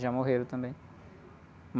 Já morreram também.